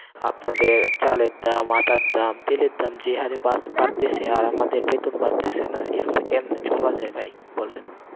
আপনাদের চালের দাম, আটার দাম, তেলের দাম যে হারে বাড়তেসে, আর আমাদের বেতন বাড়তেসে না, এভাবে কেমনে চলা যায় ভাই, বলেন,